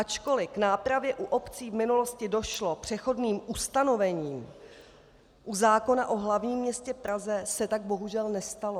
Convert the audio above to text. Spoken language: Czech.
Ačkoli k nápravě u obcí v minulosti došlo přechodným ustanovením, u zákona o hlavním městě Praze se tak bohužel nestalo.